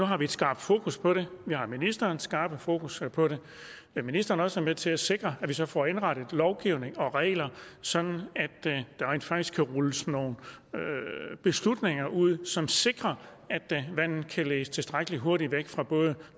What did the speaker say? har et skarpt fokus på det og vi har ministerens skarpe fokus på det vil ministeren også være med til at sikre at vi så får indrettet lovgivningen og reglerne sådan at der rent faktisk kan rulles nogle beslutninger ud som sikrer at vandet kan ledes tilstrækkelig hurtigt væk fra både